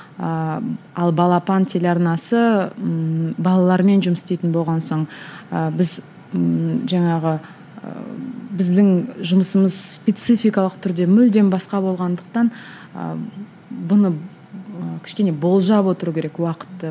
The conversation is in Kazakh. ыыы ал балапан телеарнасы ммм балалармен жұмыс істейтін болған соң ыыы біз ммм жаңағы ыыы біздің жұмысымыз спецификалық түрде мүлдем басқа болғандықтан ы бұны ы кішкене болжап отыру керек уақытты